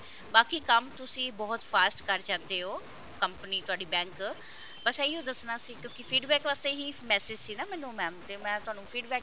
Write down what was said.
ਬਾਕੀ ਕੰਮ ਤੁਸੀਂ ਬਹੁਤ fast ਕਰ ਜਾਂਦੇ ਹੋ company ਤੁਹਾਡੀ bank ਬੱਸ ਇਹੀਓ ਦੱਸਣਾ ਸੀ ਕਿਉਂਕਿ feedback ਵਾਸਤੇ ਹੀ message ਸੀ ਨਾ ਮੈਨੂੰ mam ਤੇ ਮੈਂ ਤੁਹਾਨੂੰ feedback